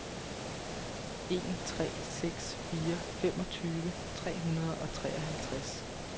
en tre seks fire femogtyve tre hundrede og treoghalvtreds